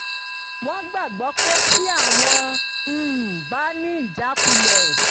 wọ́n gbàgbọ́ pé tí àwọn um bá ní ìjákulẹ̀